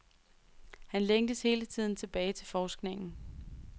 Han længtes hele tiden tilbage til forskningen.